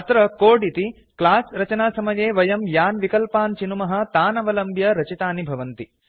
अत्र कोड् इति क्लास रचनासमये वयं यान् विकल्पान् चिनुमः तान् अवलम्ब्य रचितानि भवन्ति